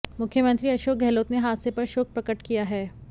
मुख्यमंत्री अशोक गहलोत ने हादसे पर शोक प्रकट किया है